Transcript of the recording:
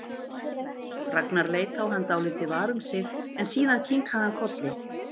Ragnar leit á hann dálítið var um sig en síðan kinkaði hann kolli.